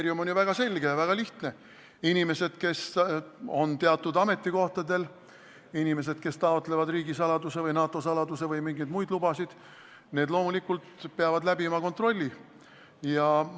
Kriteerium on väga selge ja väga lihtne: inimesed, kes on teatud ametikohtadel, inimesed, kes taotlevad riigisaladuse või NATO saladuse luba või mingeid muid lubasid, peavad loomulikult kontrolli läbi tegema.